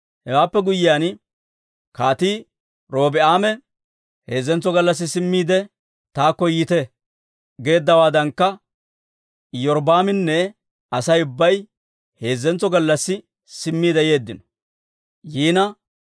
Hewaappe guyyiyaan, Kaatii Robi'aame, «Heezzantso gallassi simmiide, taakko yiite» geeddawaadankka, Iyorbbaaminne Asay ubbay heezzentso gallassi simmiide yeeddino.